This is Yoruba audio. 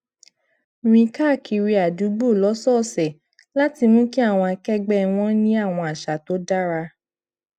rìn káàkiri adugbo lósòòsè láti mú kí àwọn akẹgbẹ wọn ní àwọn àṣà tó dára